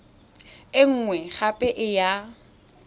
e nngwe gape e ya